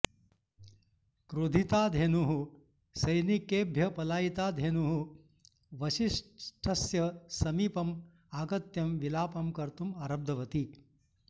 क्रोधिता धेनुः सैनिकेभ्यः पलायिता धेनुः वसिष्ठस्य समीपम् आगत्यं विलापं कर्तुम् आरब्धवती